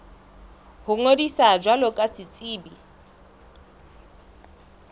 ho ngodisa jwalo ka setsebi